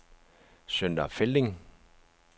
Sønder Felding